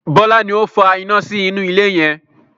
Bọlá ni ó fa iná sí inú ilé yẹn